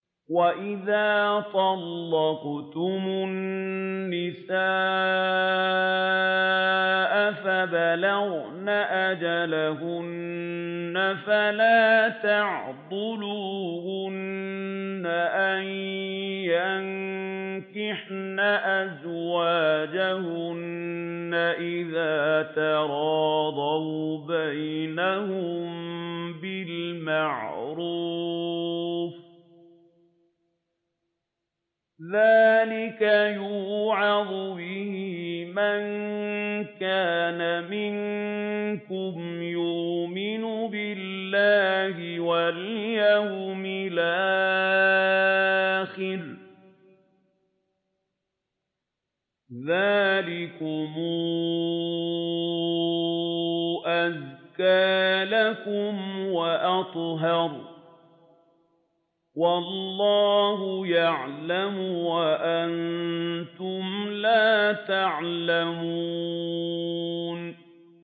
وَإِذَا طَلَّقْتُمُ النِّسَاءَ فَبَلَغْنَ أَجَلَهُنَّ فَلَا تَعْضُلُوهُنَّ أَن يَنكِحْنَ أَزْوَاجَهُنَّ إِذَا تَرَاضَوْا بَيْنَهُم بِالْمَعْرُوفِ ۗ ذَٰلِكَ يُوعَظُ بِهِ مَن كَانَ مِنكُمْ يُؤْمِنُ بِاللَّهِ وَالْيَوْمِ الْآخِرِ ۗ ذَٰلِكُمْ أَزْكَىٰ لَكُمْ وَأَطْهَرُ ۗ وَاللَّهُ يَعْلَمُ وَأَنتُمْ لَا تَعْلَمُونَ